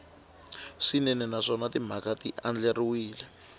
swinene naswona timhaka ti andlariwile